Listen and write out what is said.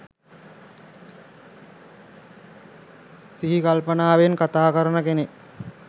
සිහිකල්පනාවෙන් කථා කරන කෙනෙක්